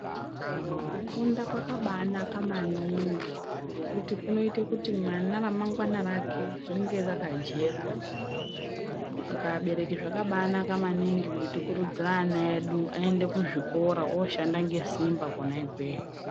Kufunda kwakabanaka maningi kunoita kuti mwana ramangwana rake rinenge rakajeka saka abereki zvakabanaka maningi kuti tikuridzire vana vedu aende kuzvikora anoshanda nesimba kona ikweyo.